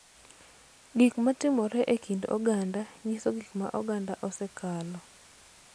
Gik ma timore e kind oganda nyiso gik ma oganda osekalo